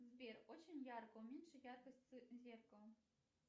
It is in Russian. сбер очень ярко уменьши яркость зеркала